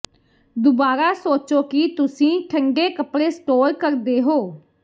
ਦੁਬਾਰਾ ਸੋਚੋ ਕਿ ਤੁਸੀਂ ਠੰਢੇ ਕੱਪੜੇ ਸਟੋਰ ਕਰਦੇ ਹੋ